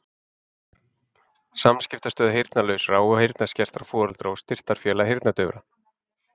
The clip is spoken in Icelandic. samskiptamiðstöð heyrnarlausra og heyrnarskertra foreldra og styrktarfélag heyrnardaufra